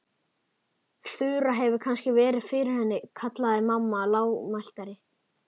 Þura hefur kannski verið fyrir henni kallaði mamma heldur lágmæltari.